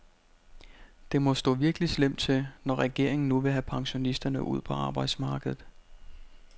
Det må stå virkelig slemt til, når regeringen nu vil have pensionisterne ud på arbejdsmarkedet.